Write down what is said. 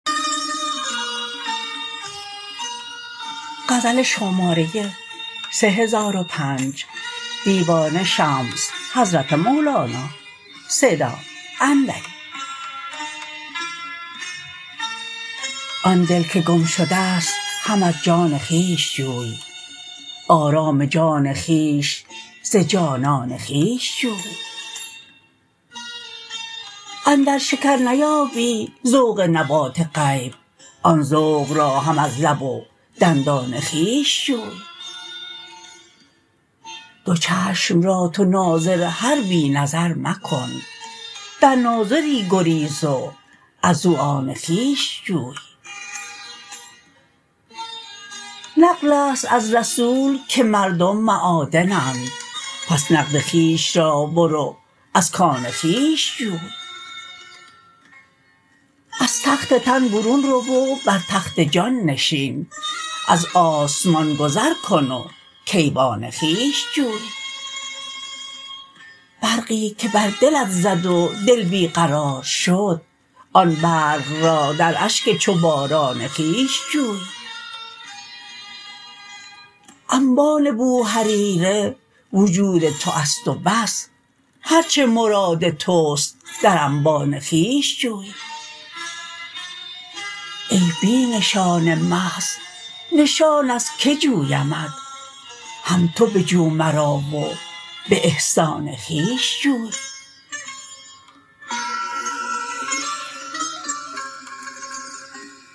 آن دل که گم شده ست هم از جان خویش جوی آرام جان خویش ز جانان خویش جوی اندر شکر نیابی ذوق نبات غیب آن ذوق را هم از لب و دندان خویش جوی دو چشم را تو ناظر هر بی نظر مکن در ناظری گریز و ازو آن خویش جوی نقلست از رسول که مردم معادنند پس نقد خویش را برو از کان خویش جوی از تخت تن برون رو و بر تخت جان نشین از آسمان گذر کن و کیوان خویش جوی برقی که بر دلت زد و دل بی قرار شد آن برق را در اشک چو باران خویش جوی انبان بوهریره وجود توست و بس هر چه مراد توست در انبان خویش جوی ای بی نشان محض نشان از کی جویمت هم تو بجو مرا و به احسان خویش جوی